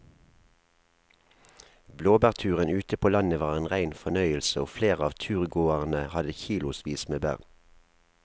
Blåbærturen ute på landet var en rein fornøyelse og flere av turgåerene hadde kilosvis med bær.